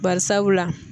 Bari sabula